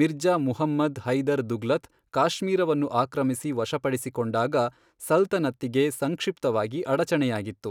ಮಿರ್ಜಾ ಮುಹಮ್ಮದ್ ಹೈದರ್ ದುಗ್ಲತ್, ಕಾಶ್ಮೀರವನ್ನು ಆಕ್ರಮಿಸಿ ವಶಪಡಿಸಿಕೊಂಡಾಗ ಸಲ್ತನತ್ತಿಗೆ ಸಂಕ್ಷಿಪ್ತವಾಗಿ ಅಡಚಣೆಯಾಗಿತ್ತು.